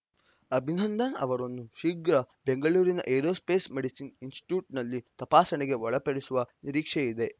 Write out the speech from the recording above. ಅಭಿನಂದನ್‌ ಅವರನ್ನು ಶೀಘ್ರ ಬೆಂಗಳೂರಿನ ಏರೋಸ್ಪೇಸ್‌ ಮೆಡಿಸಿನ್‌ ಇನ್ಸ್‌ಟಿಟ್ಯೂಟ್‌ನಲ್ಲಿ ತಪಾಸಣೆಗೆ ಒಳಪಡಿಸುವ ನಿರೀಕ್ಷೆಯಿದೆ